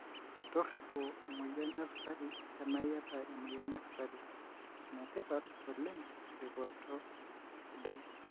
toriopo emoyian esukari tena iyata emoyian esukari, enetipat oleng eripoto sidai.